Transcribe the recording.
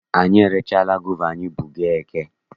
Anyị erechaghị gova anyị bu gaa eke.